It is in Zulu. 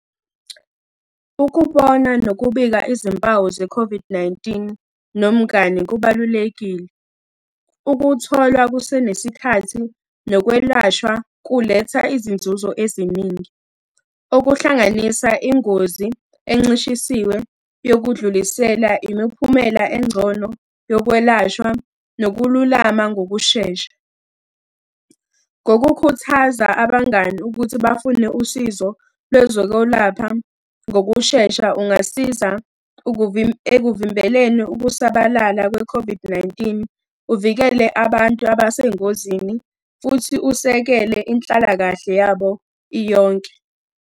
Ukubona nokubika izimpawu ze-COVID-19, nomngani kubalulekile. Ukuthola kusenesikhathi, nokwelashwa kuletha izinzuzo eziningi. Okuhlanganisa ingozi encishisiwe yokudlulisela imiphumela engcono yokwelashwa nokululama ngokushesha. Ngokukhuthaza abangani ukuthi bafune usizo lwezokwelapha ngokushesha, ungasiza ekuvimbeleni ukusabalala kwe-COVID-19, uvikele abantu abesengozini, futhi usekele inhlalakahle yabo iyonke.